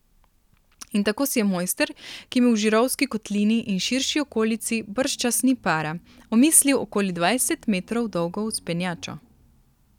In tako si je mojster, ki mu v žirovski kotlini in širši okolici bržčas ni para, omislil okoli dvajset metrov dolgo vzpenjačo.